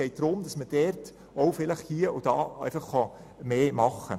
Es geht darum, dass die Möglichkeit besteht, hier und dort etwas mehr zu erreichen.